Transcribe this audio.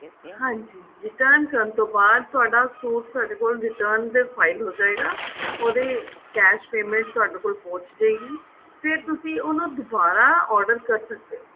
ਹਾਂਜੀ return ਕਰਨ ਤੋਂ ਬਾਅਦ ਤੁਹਾਡਾ suit ਸਾਡੇ return ਦੇ file ਹੋ ਜਾਏਗਾ ਉਹਦੀ cash payment ਤੁਹਾਡੇ ਕੋਲ ਪਹੁੰਚ ਜੇਗੀ ਫੇਰ ਤੁਸੀਂ ਉਹਨੂੰ ਦੁਬਾਰਾ order ਕਰ ਸਕਦੇ ਹੋ